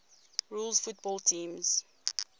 rules football teams